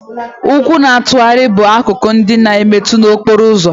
Ụkwụ na-atụgharị bụ akụkụ ndị na-emetu na okporo ụzọ